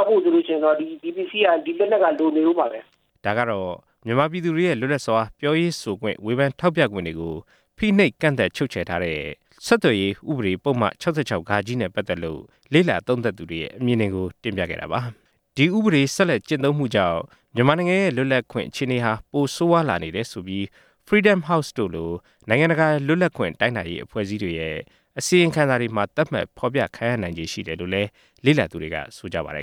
က်ဖို့ဆိုလို့ရှိရင်တော့ ဒီပစ္စည်းက..ဒီလက်နက်က လိုနေဦးမှာပဲ” ဒါကတော့ မြန်မာပြည်သူတွေရဲ့ လွတ်လပ်စွာ ပြောရေးဆိုခွင့် ဝေဖန်ထောက်ပြခွင့်တွေကို ဖိနှိပ်ချုပ်ချယ်ထားတဲ့ ဆက်သွယ်ရေး ဥပဒေ ၆၆ နဲ့ ပတ်သက်လို့ လေ့လာသုံးသပ်သူတွေရဲ့ အမြင်တွေကို တင်ပြခဲ့တာပါ။ ဒီဥပဒေဆက်လက်ကျင့်သုံးမှုကြောင့် မြန်မာနိုင်ငံရဲ့ လွတ်လပ်ခွင့် အခြေအနေဟာ ပိုဆိုးဝါးလာနေတယ်ဆိုပြီး Freedom House လို နိုင်ငံတကာ လွတ်လပ်ခွင့်တိုင်းတာရေး အဖွဲ့အစည်းတွေရဲ့ အစီရင်ခံစာတွေမှာ သတ်မှတ်ဖော်ပြခံရနိုင်ချေရှိတယ်လို့လည်း လေ့လာသူတွေက ဆိုကြပါတယ်